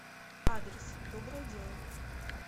адрес доброе дело